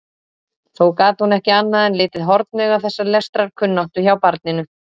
Þó gat hún ekki annað en litið hornauga þessa lestrarkunnáttu hjá barninu.